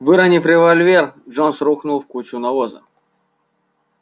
выронив револьвер джонс рухнул в кучу навоза